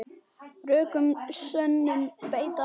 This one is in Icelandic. Rökum sönnum beita má.